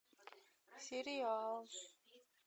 сериал